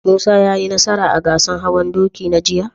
Musa ya yi nasara a gasar hawan doki na jiya?